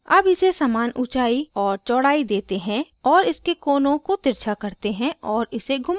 अब इसे समान ऊँचाई और चौड़ाई देते हैं और इसके कोनों को तिरछा करते हैं और इसे घुमाते हैं